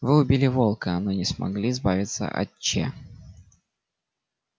вы убили волка но не смогли избавиться от че